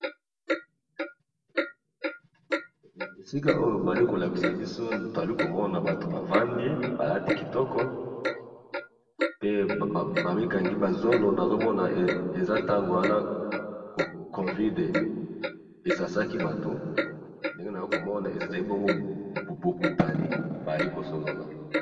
esika oyo bazali kolakisa biso toali komona bato bavandi balati kitoko pe bamikangi bazolo nazomona eza ntango wana covide esasaki bato ndenge na ya komona eezali bongo bokutani baali kosolola